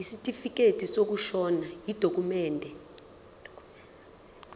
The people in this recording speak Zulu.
isitifikedi sokushona yidokhumende